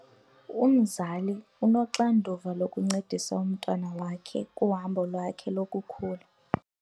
Umzali unoxanduva lokuncedisa umntwana wakhe kuhambo lwakhe lokukhula.